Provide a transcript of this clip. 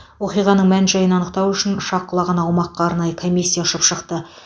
оқиғаның мән жайын анықтау үшін ұшақ құлаған аумаққа арнайы комиссия ұшып шықты